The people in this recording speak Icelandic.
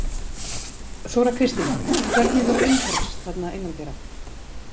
Þóra Kristín: Hvernig var umhorfs þarna innandyra?